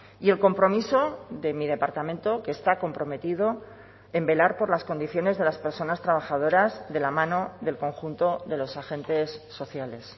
y el compromiso de mi departamento que está comprometido en velar por las condiciones de las personas trabajadoras de la mano del conjunto de los agentes sociales